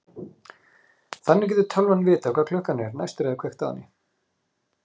Þannig getur tölvan vitað hvað klukkan er næst þegar kveikt er á henni.